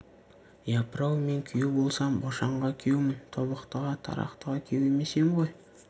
япырау мен күйеу болсам бошанға күйеумін тобықтыға тарақтыға күйеу емес ем ғой